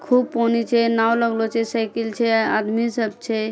खूब पानी छे नाव लगलो छे सेकिल छे आदमी सब छे।